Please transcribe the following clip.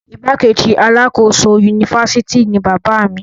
igbákejì alákòóso unifásitì ni bàbá mi